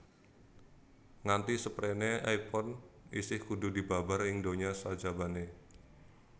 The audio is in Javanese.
Nganti sepréné iPhone isih kudu dibabar ing donya sajabané